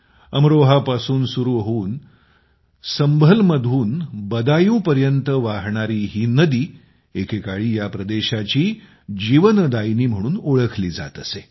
अमरोहापासून सुरू होऊन संभळमधून बदायूंला वाहणारी ही नदी एकेकाळी या प्रदेशाची जीवनदायिनी म्हणून ओळखली जात असे